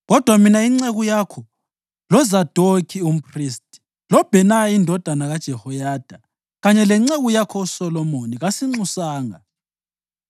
Kodwa mina inceku yakho, loZadokhi umphristi, loBhenaya indodana kaJehoyada, kanye lenceku yakho uSolomoni kasinxusanga.